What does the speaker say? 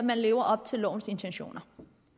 lever op til lovens intentioner